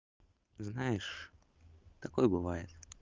знаешь такое бывает